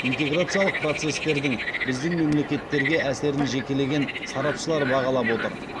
интеграциялық процестердің біздің мемлекеттерге әсерін жекелеген сарапшылар бағалап отыр